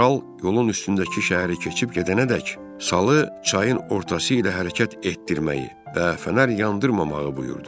Kral yolun üstündəki şəhəri keçib gedənədək salı çayın ortası ilə hərəkət etdirməyi və fənər yandırmamağı buyurdu.